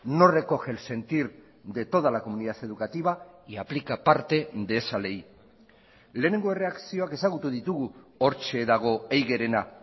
no recoge el sentir de toda la comunidad educativa y aplica parte de esa ley lehenengo erreakzioak ezagutu ditugu hortxe dago eigerena